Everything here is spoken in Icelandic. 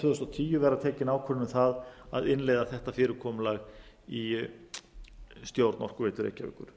þúsund og tíu verða tekin ákvörðun um að innleiða þetta fyrirkomulag í stjórn orkuveitu reykjavíkur